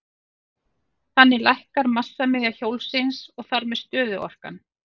Þannig lækkar massamiðja hjólsins og þar með stöðuorkan.